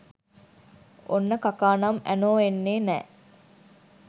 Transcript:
ඔන්න කකා නම් ඇනෝ එන්නේ නෑ